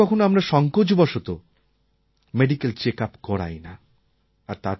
কখনও কখনও আমরা সঙ্কোচবশত মেডিক্যাল চেকআপ করাই না